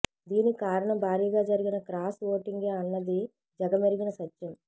దీనికి కారణం భారీగా జరిగిన క్రాస్ ఓటింగే అన్నది జగమెరిగిన సత్యం